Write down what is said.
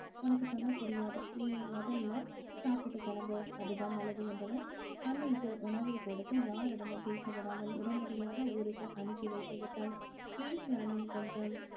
உனக்கு சொன்னா புரியாது நீ முதல்ல சாப்பிட்டுட்டு கிளம்பு அதுதான் நல்லது என்றவள் அன்னைக்கு உணவைக் கொடுத்து யாரிடமும் பேசவிடாமல் உடனடியாக ஊருக்கு அனுப்பி வைத்து விட்டால் ஈஸ்வரனும் கொஞ்சம்